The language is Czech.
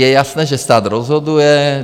Je jasné, že stát rozhoduje.